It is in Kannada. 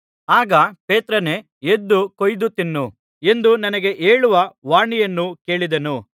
ಆಗ ಪೇತ್ರನೇ ಎದ್ದು ಕೊಯ್ದು ತಿನ್ನು ಎಂದು ನನಗೆ ಹೇಳುವ ವಾಣಿಯನ್ನು ಕೇಳಿದೆನು